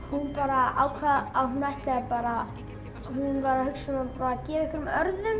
hún bara ákvað að hún ætlaði bara hún var að hugsa um að gefa einhverjum